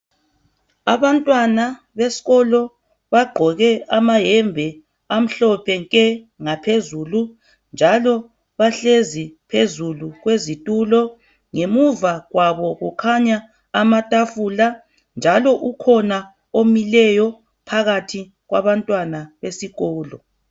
Abantwana besikolo bagqoke amayembe amhlophe nke ngaphezulu njalo bahlezi phezulu kwezitulo. Ngemuva kwabo kukhanya amatafula njalo ukhona omileyo phakathi kwabantwana besikolo.